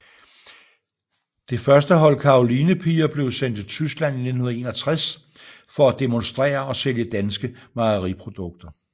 Det første hold Karolinepiger blev sendt til Tyskland i 1961 for at demonstrere og sælge danske mejeriprodukter